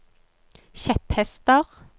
kjepphester